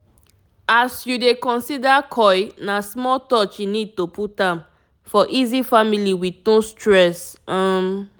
as u dey consider coil na small touch e need to put am --for easy family with no stress. um